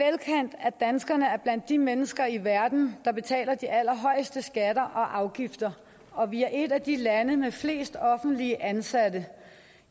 at danskerne er blandt de mennesker i verden der betaler de allerhøjeste skatter og afgifter og vi er et af de lande med flest offentligt ansatte